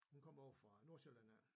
Hun kom ovre fra Nordsjælland af